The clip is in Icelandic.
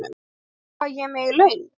Veistu hvað ég er með í laun?